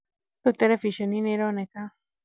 rĩu terebiceni nĩĩroneka